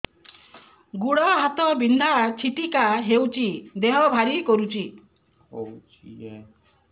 ଗୁଡ଼ ହାତ ବିନ୍ଧା ଛିଟିକା ହଉଚି ଦେହ ଭାରି କରୁଚି